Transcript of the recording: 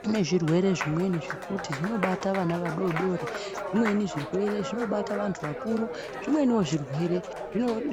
Kune zvirwere zvimweni zvekuti zvinobata vana vadodori zvimweni zvirwere zvinobata vantu vakuru. Zvimwenivo zvirwere